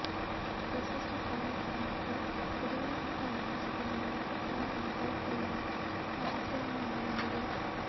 ಯಶಸ್ಸು ಕಾರ್ಮಿಕರ ಮತ್ತು ಉದಯೋನ್ಮುಖ ಅವಕಾಶಗಳನ್ನು ಮತ್ತು ಕ್ಷಣವನ್ನು ಕಳೆದುಕೊಳ್ಳುವ ಸಾಮರ್ಥ್ಯವನ್ನೂ ಒಳಗೊಂಡಿದೆ